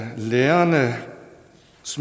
lærernes